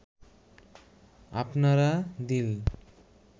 আপনারা দিল